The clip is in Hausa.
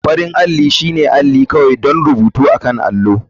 Farin alli shine aplce kawai don rubutu akan allo.